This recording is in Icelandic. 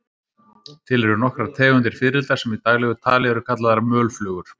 Til eru nokkrar tegundir fiðrilda sem í daglegu tali eru kallaðar mölflugur.